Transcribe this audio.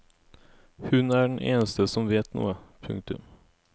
Hun er den enste som vet noe. punktum